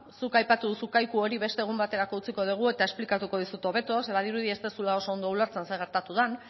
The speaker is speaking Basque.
zuk aipatu duzu kaiku hori beste egun baterako utziko dugu eta esplikatuko dizut hobeto zeren badirudi ez duzula oso ondo ulertzen zer gertatu den